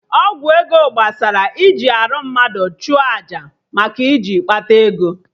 Ọgwụ ego gbasara iji arụ mmadụ chụọ aja maka iji kpata ego